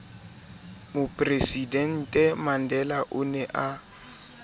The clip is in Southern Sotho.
mopresidente mandela o ne a